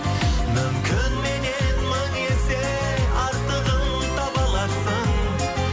мүмкін меннен мың есе артығын таба аларсың